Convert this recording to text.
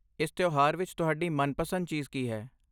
ਇਸ ਤਿਉਹਾਰ ਵਿੱਚ ਤੁਹਾਡੀ ਮਨਪਸੰਦ ਚੀਜ਼ ਕੀ ਹੈ?